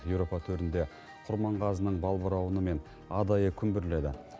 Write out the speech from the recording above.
еуропа төрінде құрманғазының балбырауыны мен адайы күмбірледі